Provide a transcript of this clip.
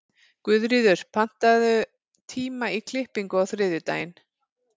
Guðríður, pantaðu tíma í klippingu á þriðjudaginn.